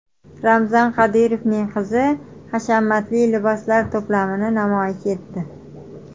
Ramzan Qodirovning qizi hashamatli liboslar to‘plamini namoyish etdi.